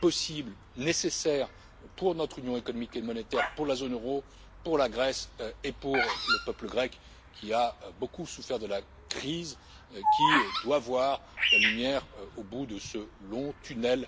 possible et nécessaire pour notre union économique et monétaire, pour la zone euro, pour la Grèce et pour le peuple grec, qui a beaucoup souffert de la crise, qui doit voir la lumière au bout de ce